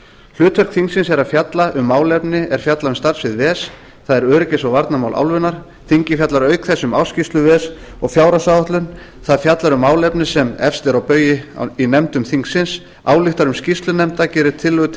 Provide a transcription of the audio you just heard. hlutverk þingsins er að fjalla um málefni er falla undir starfssvið ves það er öryggis og varnarmál álfunnar þingið fjallar auk þess um ársskýrslu ves og fjárhagsáætlun það fjallar um málefni sem eru efst á baugi í nefndum þingsins ályktar um skýrslur nefnda gerir tillögur til